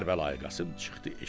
Kərbəlayı Qasım çıxdı eşiyə.